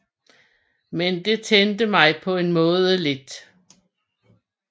Men det tændte mig på en måde lidt